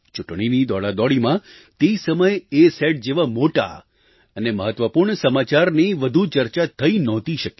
ચૂંટણીની દોડાદોડીમાં તે સમયે અસત જેવા મોટા અને મહત્ત્વપૂર્ણ સમાચારની વધુ ચર્ચા થઈ નહોતી શકી